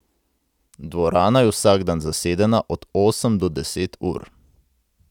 Dvorana je vsak dan zasedena od osem do deset ur.